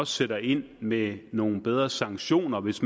sætter ind med nogle bedre sanktioner hvis